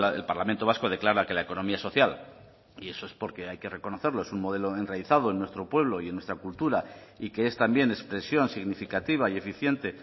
el parlamento vasco declara que la economía social y eso es porque hay que reconocerlo es un modelo enraizado en nuestro pueblo y en nuestra cultura y que es también expresión significativa y eficiente